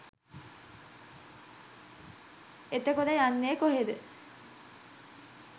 එතකොට යන්නේ කොහේද